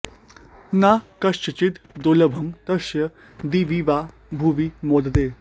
न किञ्चिद् दुर्लभं तस्य दिवि वा भुवि मोदते